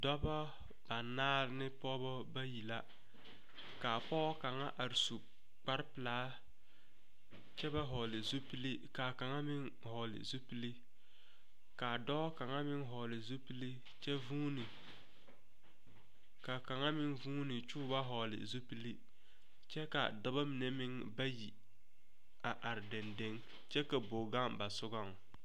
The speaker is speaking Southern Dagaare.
Dɔba banaare ne pɔgeba bayi la kaa pɔge kaŋa are su kpare pilaa kyɛ ba vɔgle zupile kaa kaŋa meŋ vɔgle zupile kaa dɔɔ kaŋa meŋ vɔgle zupile kyɛ vuuni kaa kaŋa meŋ vuuni kyɛ o ba vɔgle zupile kyɛ kaa dɔba mine meŋ bayi a are daŋdaŋ kyɛ ka bog gaŋ ba sɔgɔŋ.